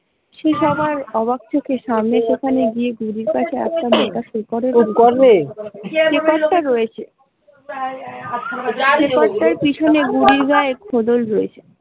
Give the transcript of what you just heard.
সে সবার অবাক চোখে সামনে সেখানে গিয়ে শেকড় টা রয়েছে, শেকড় টার পিছনে বুড়ির গায়ের খোলস রয়েছে।